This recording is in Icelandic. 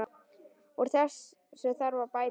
Úr þessu þarf að bæta!